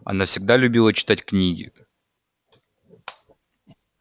она всегда любила читать книги